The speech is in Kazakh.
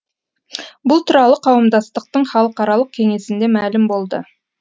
бұл туралы қауымдастықтың халықаралық кеңесінде мәлім болды